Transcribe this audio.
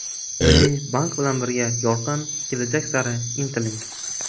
Milliy bank bilan birga yorqin kelajak sari intiling!